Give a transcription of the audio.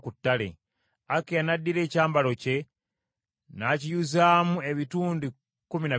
Akiya n’addira ekyambalo kye n’akiyuzaamu ebitundu kkumi na bibiri.